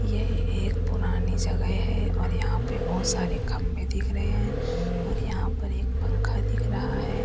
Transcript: ये एक पुरानी जगह है और यहां पर बहुत सारे खंबे दिख रहे हैं और यहां पर एक पंखा दिख रहा है।